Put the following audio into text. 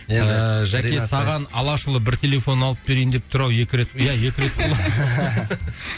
жәке саған алашұлы бір телефон алып берейін деп тұр ау екі рет иә екі рет құлады